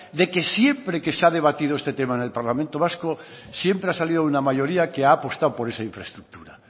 de que siempre que se ha debatido este tema en el parlamento vasco siempre ha salido una mayoría que ha apostado por esa infraestructura